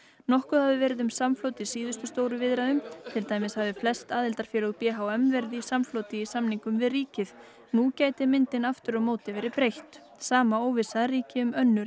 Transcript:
nokkuð hafi verið um samflot í síðustu stóru viðræðum til dæmis hafi flest aðildarfélög b h m verið í samfloti í samningum við ríkið nú gæti myndin aftur á móti verið breytt sama óvissa ríkir um önnur